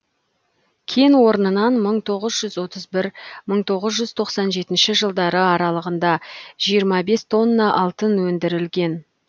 кен орнынан мың тоғыз жүз отыз бір мың тоғыз жүз тоқсан жетінші жылдары аралығында жиырма бес тонна алтын өндірілген